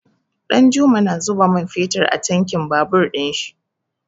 Ɗanjuma na zuba man fetur a tankin babur ɗin shi.